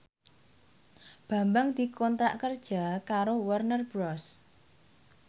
Bambang dikontrak kerja karo Warner Bros